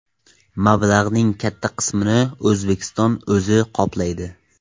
Mablag‘ning katta qismini O‘zbekistonning o‘zi qoplaydi.